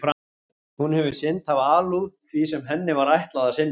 Hún hefur sinnt af alúð því sem henni var ætlað að sinna.